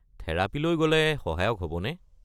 থেৰাপীলৈ গ'লে সহায়ক হ'বনে?